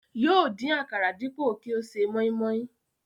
Yóò dín àkàrà dípò kí ó ṣe mọ́ímọ́í